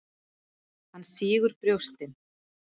Hann sýgur brjóstin.